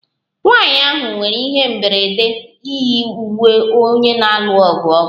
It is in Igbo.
Nwanyị ahụ nwere ihe mberede yi uwe onye na-alụ ọgụ ọkụ